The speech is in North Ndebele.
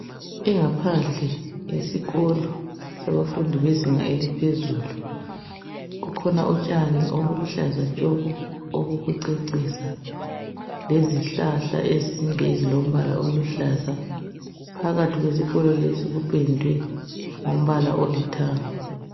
Ingaphandle yesikolo sabafundi bezinga eliphezulu, kukhona utshani obuluhlaza tshoko obokucecisa lezihlahla ezinde ezilombala oluhlaza phakathi kwesikolo lesi kupendwe ngombala olithanga.